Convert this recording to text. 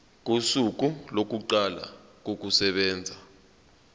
kosuku lokuqala kokusebenza